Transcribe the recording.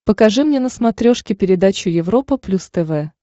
покажи мне на смотрешке передачу европа плюс тв